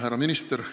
Härra minister!